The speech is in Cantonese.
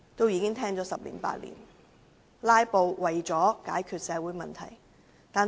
然而，"拉布"能否解決社會問題？